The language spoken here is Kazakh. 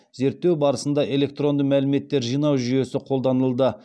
зерттеу барысында электронды мәліметтер жинау жүйесі қолданылды